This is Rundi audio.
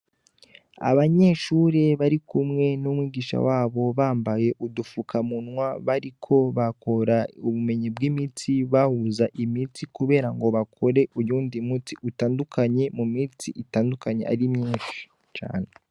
icumba c 'ubushakashatsi kirimw' abanyeshure barikumwe n' umwarimu wabo, bambay' udufukamunwa dus' ubururu har' umunyeshur' umwe arikuvang' imit' afise muntok' agacupa karimw' umut' utukura, akandi gacupa karabonerana.